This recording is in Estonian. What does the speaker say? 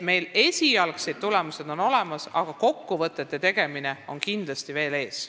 Meil on esialgsed tulemused olemas, aga kokkuvõtete tegemine seisab kindlasti veel ees.